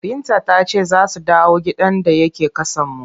Binta ta ce za su dawo gidan da yake ƙasanmu.